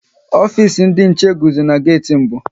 Ofisi ndị nche guzo n'geti mbụ